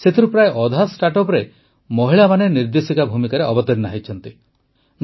ସେଥିରୁ ପ୍ରାୟ ଅଧା ଷ୍ଟାର୍ଟଅପର ମହିଳାମାନେ ନିର୍ଦେଶକ ଭୂମିକାରେ ଅବତୀର୍ଣ୍ଣା ହୋଇଛନ୍ତି